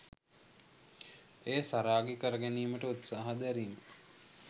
එය සරාගී කර ගැනීමට උත්සාහ දැරීම